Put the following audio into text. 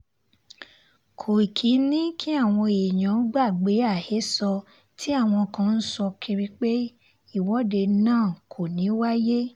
kòìkì ni kí àwọn èèyàn gbàgbé àhesọ tí àwọn kan ń sọ kiri pé ìwọ́de náà kò ní í wáyé